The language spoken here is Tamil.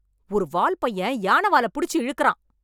ஒரு வால் பையன் யானை வால புடுச்சு இழுக்கிறான்.